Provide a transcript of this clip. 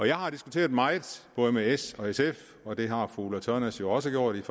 jeg har diskuteret meget både med s og sf og det har fru ulla tørnæs jo også gjort jeg